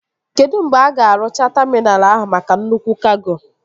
Kedụ mgbe a ga-arụcha taminal ahụ maka nnukwu kago?